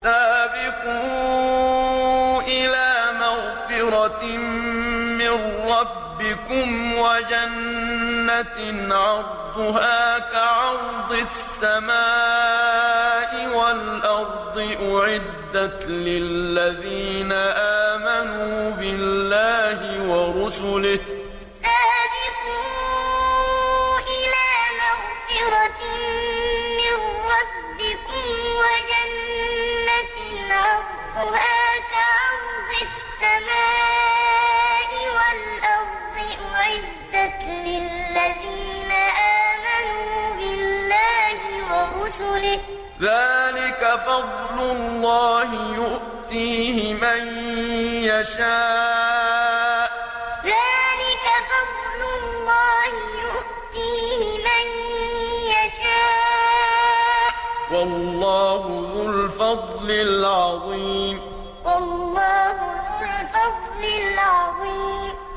سَابِقُوا إِلَىٰ مَغْفِرَةٍ مِّن رَّبِّكُمْ وَجَنَّةٍ عَرْضُهَا كَعَرْضِ السَّمَاءِ وَالْأَرْضِ أُعِدَّتْ لِلَّذِينَ آمَنُوا بِاللَّهِ وَرُسُلِهِ ۚ ذَٰلِكَ فَضْلُ اللَّهِ يُؤْتِيهِ مَن يَشَاءُ ۚ وَاللَّهُ ذُو الْفَضْلِ الْعَظِيمِ سَابِقُوا إِلَىٰ مَغْفِرَةٍ مِّن رَّبِّكُمْ وَجَنَّةٍ عَرْضُهَا كَعَرْضِ السَّمَاءِ وَالْأَرْضِ أُعِدَّتْ لِلَّذِينَ آمَنُوا بِاللَّهِ وَرُسُلِهِ ۚ ذَٰلِكَ فَضْلُ اللَّهِ يُؤْتِيهِ مَن يَشَاءُ ۚ وَاللَّهُ ذُو الْفَضْلِ الْعَظِيمِ